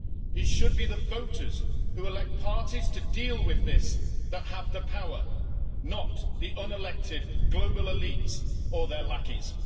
It should be the voters who elect parties to deal with this that have the power, not the unelected global elites or their lackeys.